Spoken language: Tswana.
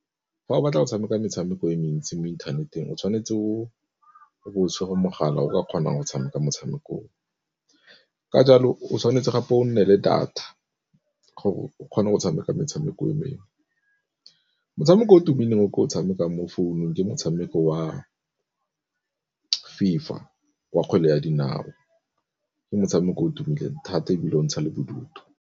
Fa o batla go tshameka metshameko e mentsi mo inthaneteng o tshwanetse o be o tshwere mogala o ka kgonang go tshameka motshameko o. Ka jalo o tshwanetse gape o nne le data gore o kgone go tshameka metshameko e mengwe. Motshameko o tumileng o ke o tshamekang mo founung ke motshameko wa FIFA wa kgwele ya dinao ke motshameko o tumileng thata ebile o ntsha le bodutu.